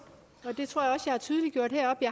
man